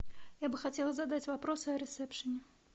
я бы хотела задать вопрос о ресепшене